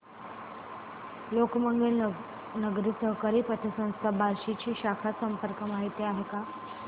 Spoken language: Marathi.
लोकमंगल नागरी सहकारी पतसंस्था बार्शी ची शाखा संपर्क माहिती काय आहे